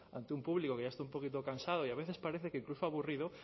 ante un público que ya está un poquito cansado y a veces parece que incluso aburrido